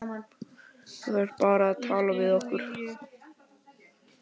Þú þarft bara að tala við okkur.